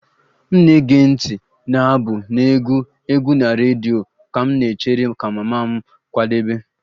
M ga-ege ntị na abụ na-egwu egwu na redio ka m na-echere ka mama m kwadebe